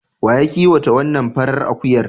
Wa ya kiwata wannan farar akuyar?